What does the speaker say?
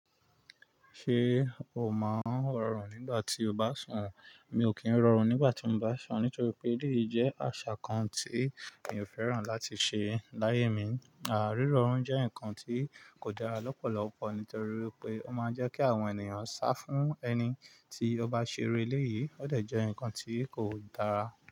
Ṣé o máa ń rọrùn nígbà tí o bá sùn? Mi ò kí ń rọrùn nígbà tí mo bá sùn nítorí pé, èleyií jẹ́ àṣà kan tí mi ò fẹ́ràn láti ṣe láyé mi. À rírọrùn jẹ́ nǹkan tí kò dára lọ́pọ̀lọpọ̀ nítorí wipé ó máa ń jẹ́ kí àwọn ènìyàn sá fún ẹni tí ó bá ṣe iru léyìí, ó dẹ̀ jẹ́ nǹkan tí kò dára.